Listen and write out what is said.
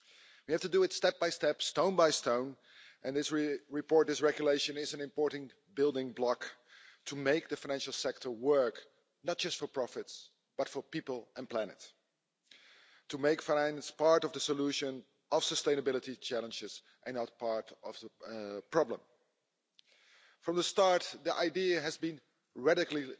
We have to do it step by step, stone by stone, and this report, this regulation is an important building block to make the financial sector work, not just for profits but for people and planet, to make finance part of the solution of sustainability challenges and not part of the problem. From the start, the idea has been radically